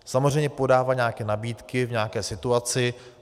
Samozřejmě podává nějaké nabídky v nějaké situaci.